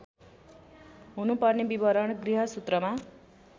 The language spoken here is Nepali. हुनुपर्ने विवरण गृहसूत्रमा